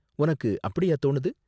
உனக்கு அப்படியா தோணுது?